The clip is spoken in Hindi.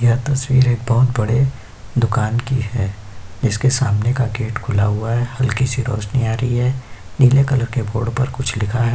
यह तस्वीर एक बहोत बड़े दुकान की है जिसके सामने का गेट खुला हुआ है। हल्की सी रौशनी आ रही है। नीले कलर के बोर्ड पर कुछ लिखा है।